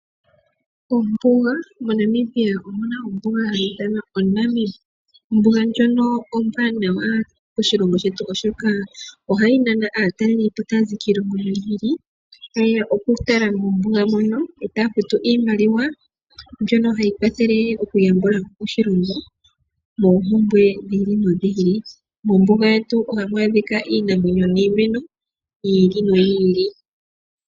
Ombuga, moNamibia omu na ombuga hayi ithanwa oNamib. Ombuga ndjono ombwanawa moshilongo shetu oshoka ohayi nana aatalelipo taya zi kiilongo yi ili noyi ili ta yeya okutala mombuga mono e taya futu iimaliwa mbyoka hayi kwathele okuyambula po oshilongo moompumbwe dhi ili nodhi ili. Mombuga yetu ohamu adhika iinamwenyo niimeno yi ili noyi ili.